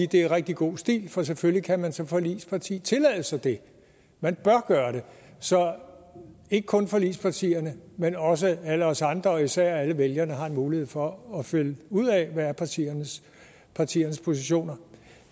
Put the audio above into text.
det er rigtig god stil for selvfølgelig kan man som forligsparti tillade sig det man bør gøre det så ikke kun forligspartierne men også alle os andre og især alle vælgerne har en mulighed for at finde ud af hvad partiernes partiernes positioner